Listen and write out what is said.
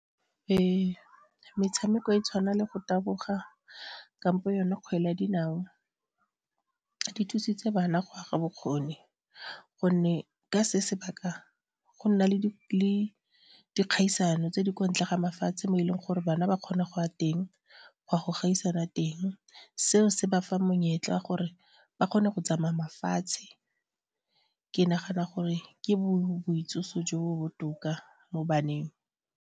Ee, metshameko e tshwana le go taboga kampo yone kgwele ya dinao di thusitse bana go aga bokgoni gonne ke se sebaka go nna le le dikgaisano tse di kwa ntle ga mafatshe mo e leng gore bana ba kgone go ya teng ga go gaisana teng seo se bafa monyetla wa gore ba kgone go tsamaya mafatshe ke nagana gore ke boitsiso jo bo botoka mo baneng.